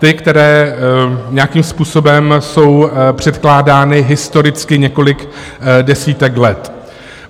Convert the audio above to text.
Ty, které nějakým způsobem jsou předkládány historicky několik desítek let.